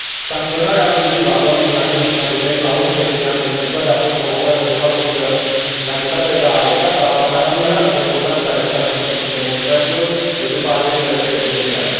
Sancționarea abuzivă a doamnei Nasrin Sotoudeh la 11 ani de închisoare a fost provocată de faptul că, în calitate de avocat, a apărat numeroși opozanți arestați în cursul demonstrațiilor de după alegerile prezidențiale.